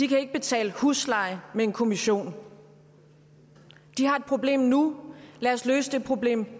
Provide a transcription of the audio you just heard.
kan ikke betale husleje med en kommission de har et problem nu lad os løse det problem